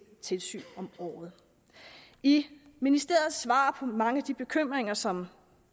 tilsyn om året i ministerens svar på mange af de bekymringer som